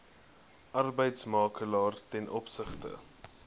arbeidsmakelaar ten opsigte